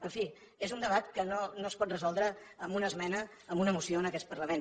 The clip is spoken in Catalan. en fi és un debat que no es pot resoldre amb una esmena a una moció en aquest parlament